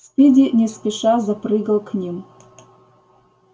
спиди не спеша запрыгал к ним